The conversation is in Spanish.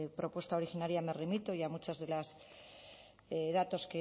propuesta originaria me remito y a muchos de los datos